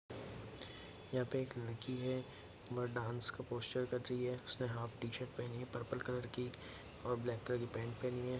यहाँ पे एक लड़की है वह डाँस का पोस्चर कर रही है उसने हाफ टी शर्ट पहनी है पर्पल कलर की और ब्लैक कलर की पेंट पहनी है।